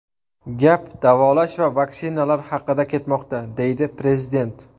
Gap davolash va vaksinalar haqida ketmoqda”, deydi prezident.